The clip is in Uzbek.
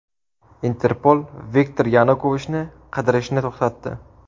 Interpol Viktor Yanukovichni qidirishni to‘xtatdi.